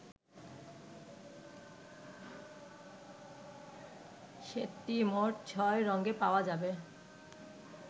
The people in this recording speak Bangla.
সেটটি মোট ছয় রঙে পাওয়া যাবে।